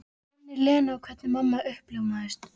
Minnir Lenu á hvernig mamma uppljómaðist.